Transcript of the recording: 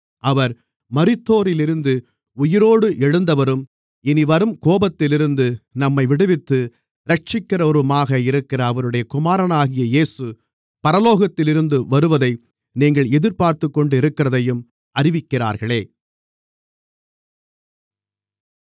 அவர் மரித்தோரிலிருந்து உயிரோடு எழுந்தவரும் இனிவரும் கோபத்திலிருந்து நம்மை விடுவித்து இரட்சிக்கிறவருமாக இருக்கிற அவருடைய குமாரனாகிய இயேசு பரலோகத்திலிருந்து வருவதை நீங்கள் எதிர்பார்த்துக்கொண்டிருக்கிறதையும் அறிவிக்கிறார்களே